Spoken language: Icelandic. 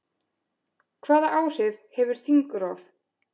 Hvaða áhrif hefur þingrof?